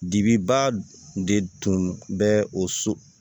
Dibi ba tun de tun bɛ o so